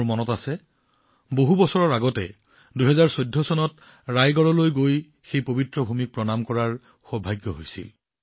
মনত আছে বহু বছৰৰ আগতে ২০১৪ চনত ৰায়গড়লৈ গৈ সেই পবিত্ৰ ভূমিক প্ৰণাম কৰাৰ সৌভাগ্য হৈছিল